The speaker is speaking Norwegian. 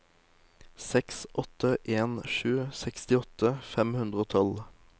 seks åtte en sju sekstiåtte fem hundre og tolv